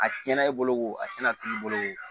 A tiɲɛna i bolo o a cɛna tig'i bolo o